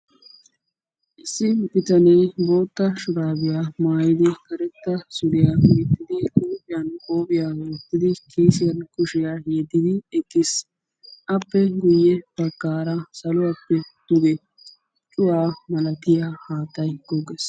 Issi bitanee bootta shurabiyaa maayyidi karetta suriyaa gixxidi huuphiyan qophiyiyya wottidi kiisiyan kushiya yediddi eqqiis. Appe guyyee baggaara saluwappe duge cuwaa malatiyaa haattay gogees.